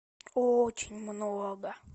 очень много